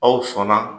Aw sɔnna